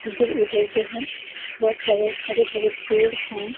इधर-उधर जो है बहुत सारे हरे भरे पेड़ हैं।